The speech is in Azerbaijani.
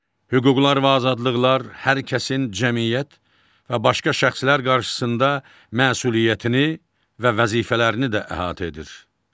Hüquqlar və azadlıqlar hər kəsin cəmiyyət və başqa şəxslər qarşısında məsuliyyətini və vəzifələrini də əhatə edir.